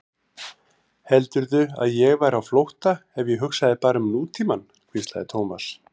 Heldurðu að ég væri á flótta ef ég hugsaði bara um nútímann? hvíslaði Thomas.